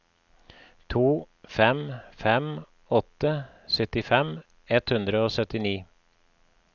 to fem fem åtte syttifem ett hundre og syttini